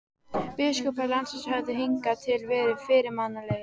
Biskupar landsins höfðu hingað til verið fyrirmannlegir.